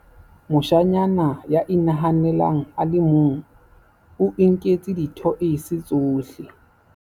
moshanyana ya inahanelang a le mong o inketse dithoese tsohle